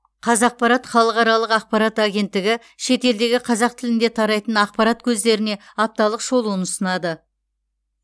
қазақпарат халықаралық ақпарат агенттігі шетелдегі қазақ тілінде тарайтын ақпарат көздеріне апталық шолуын ұсынады